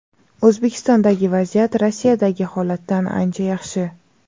O‘zbekistondagi vaziyat Rossiyadagi holatdan ancha yaxshi.